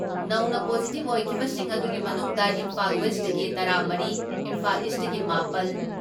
ꯅꯧꯅ ꯄꯣꯖꯤꯇꯤꯞ ꯑꯣꯏꯈꯤꯕꯁꯤꯡ ꯑꯗꯨꯒꯤ ꯃꯅꯨꯡꯗ ꯏꯝꯐꯥꯜ ꯋꯦꯁꯇꯒꯤ ꯇꯔꯥ ꯃꯔꯤ, ꯏꯝꯐꯥꯜ ꯏꯁꯇꯒꯤ ꯃꯥꯄꯜ ,